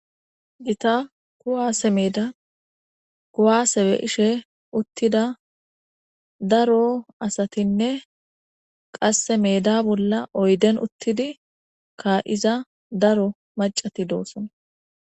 gita kuwaase meeda kuwase be7ishe uttida daro asatinne qasse meda bolla oyden uttidi ka7iza daro macati doosona